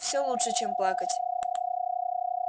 все лучше чем плакать